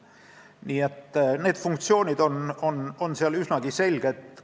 Nii et funktsioonid on seal üsnagi selged.